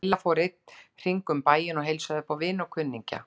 Lilla fór einn hring um bæinn og heilsaði upp á vini og kunningja.